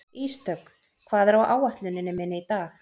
Ísdögg, hvað er á áætluninni minni í dag?